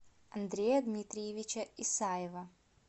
андрея дмитриевича исаева